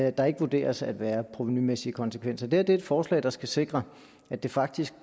at der ikke vurderes at være provenumæssige konsekvenser det her er et forslag der skal sikre at det faktisk